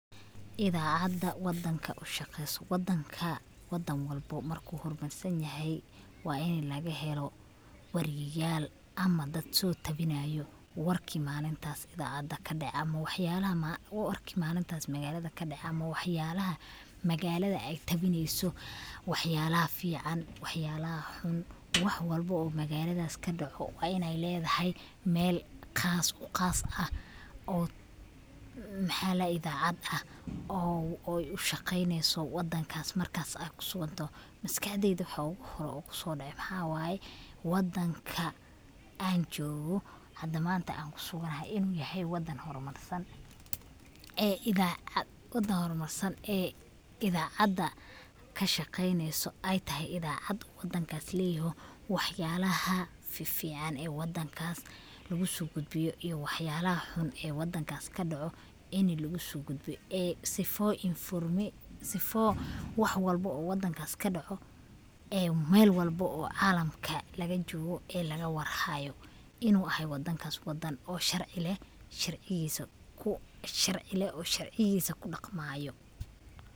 Idacada wadanka ushaqeyso. Wadan walbo marku hormarsan yahay wa inii lagahelo wariyal ama dad sotawinayo warki malintas idacada kadece ama waxyalaha magalad ey tawineyso waxyalaha fican, waxyalaha xuun wax walbo oo magalada kadece wa iney ledahay meel qaas uah oo ushaqeneyso wadanka markas ad kusugantoho. Maskaxdeyda waxa oguhore ee kusodece waxa waye wadanka an joogo an hada kusuganahay wa wadan hormarsan ee idacada kashaqeneyso ey tahay idacad wadankas leyoho oo waxyalaha fifican ee wadankas lugusogudbiyo iyo waxyalaha xunxun ee wadankas kadoco inii lugusogudbiyo sifa wax walbo ee wadankas kadaco oo meel walbo oo calamka lagajogo lagawarhayo inii wadankas uu yahay wadan sharci leeh oo sharcigisa kudaqmayo.